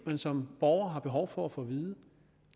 man som borger har behov for at få vide